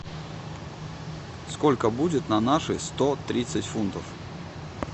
сколько будет на наши сто тридцать фунтов